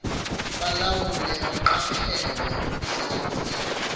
balawule baqaphele ukusetyenziswa